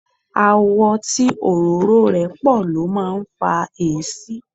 Àwọ̀ tí òróró rẹ̀ pọ̀ ló máa ń fa èéṣí.